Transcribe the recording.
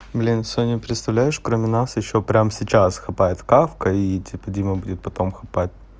блин соня представляешь кроме нас ещё прямо сейчас хапает кавка и типо дима хапать будет потом